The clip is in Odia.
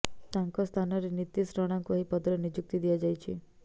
ତାଙ୍କ ସ୍ଥାନରେ ନୀତିଶ ରଣାଙ୍କୁ ଏହି ପଦରେ ନିଯୁକ୍ତି ଦିଆଯାଇଛି